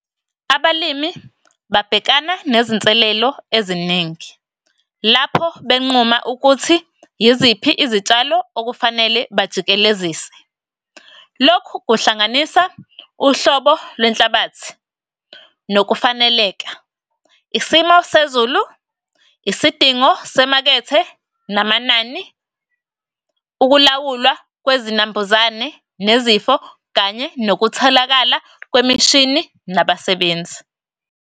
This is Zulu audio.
Abalimi babhekana nezinselelo eziningi. Lapho benquma ukuthi yiziphi izitshalo okufanele bajikelezise. Lokhu kuhlanganisa uhlobo lwenhlabathi nokufaneleka, isimo sezulu, isidingo semakethe namanani, ukulawulwa kwezinambuzane nezifo, kanye nokutholakala kwemishini nabasebenzi.